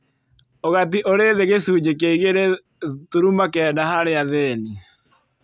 Ũgati ũrĩ thĩ gĩcunjĩ kĩa igĩrĩ turuma kenda harĩa athĩni